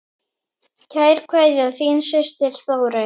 Kær kveðja, þín systir Þórey.